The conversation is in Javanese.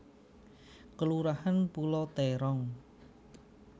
Kelurahan Pulau Terong